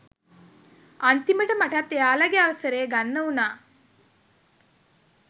අන්තිමට මටත් එයාලගේ අවසරය ගන්න වුණා